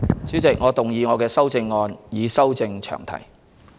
主席，我動議我的修正案，以修正詳題。